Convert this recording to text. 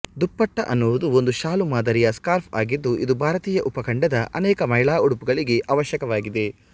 ದುಪಟ್ಟ ಅನ್ನುವುದು ಒಂದು ಶಾಲು ಮಾದರಿಯ ಸ್ಕಾರ್ಫ್ ಆಗಿದ್ದು ಇದು ಭಾರತೀಯ ಉಪಖಂಡದ ಅನೇಕ ಮಹಿಳಾ ಉಡುಪುಗಳಿಗೆ ಅವಶ್ಯಕವಾಗಿದೆ